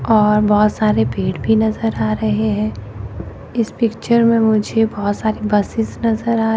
और बहोत सारे पेड़ भी नजर आ रहे हैं इस पिक्चर में मुझे बहोत सारी बसेस नजर आ रहे--